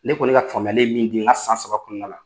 Ne kɔni ka faamuyali ye min di, n ka san saba kɔnɔ la